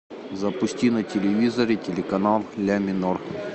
запусти на телевизоре телеканал ля минор